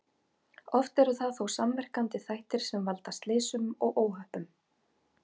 Oft eru það þó samverkandi þættir sem valda slysum og óhöppum.